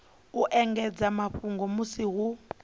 u ekedza mafhungo musi hu